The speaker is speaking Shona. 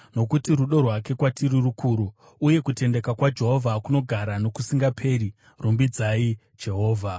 Nokuti rudo rwake kwatiri rukuru, uye kutendeka kwaJehovha kunogara nokusingaperi. Rumbidzai Jehovha.